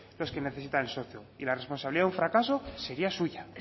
los que necesitan un socio y la responsabilidad de un fracaso sería suya